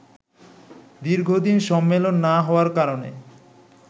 দীর্ঘদিন সম্মেলন না হওয়ার কারণে